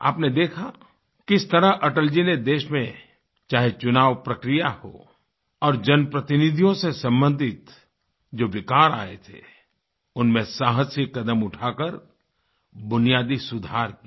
आपने देखा किस तरह अटल जी ने देश में चाहे चुनाव प्रक्रिया हो और जनप्रतिनिधियों से सम्बंधित जो विकार आए थेउनमें साहसिक कदम उठाकर बुनियादी सुधार किए